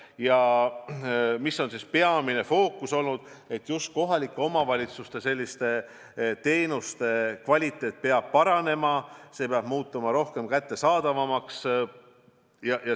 Ja mis on peamine fookus olnud: just kohalike omavalitsuste teenuste kvaliteet peab paranema, teenused peavad muutuma rohkem kättesaadavaks.